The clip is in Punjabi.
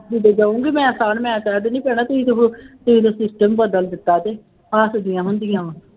ਕਿਤੇ ਜਾਊਂਗੀ ਮੈਂ ਮੈਂ ਕਹਿ ਦਿੰਦੀ ਪੈਣਾ ਤੁਸੀਂ ਤਾਂ ਹੁਣ ਤੁਸੀਂ ਤਾਂ system ਬਦਲ ਦਿੱਤਾ ਅਤੇ ਹੱਸਦੀਆਂ ਹੁੰਦੀਆਂ